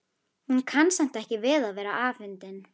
Hún kann samt ekki við að vera afundin.